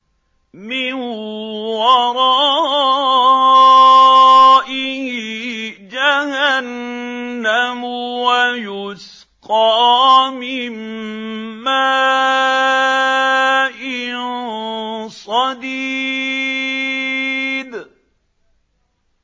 مِّن وَرَائِهِ جَهَنَّمُ وَيُسْقَىٰ مِن مَّاءٍ صَدِيدٍ